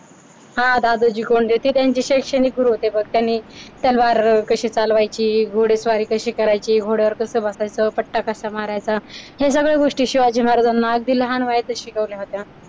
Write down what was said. दादोजी कोंडदेव होते त्यांचे शैक्षणिक गुरू होते व त्यांनी तलवार कशी चालवायची, घोडेस्वारी कशी करायची, घोड्यावर कसा बसवायच, पट्टा कसा मारायचा हे सगळे गोष्टी शिवाजी महाराजांना अगदी लहान वयातच शिकवल्या होत्या.